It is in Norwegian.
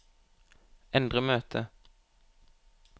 endre møte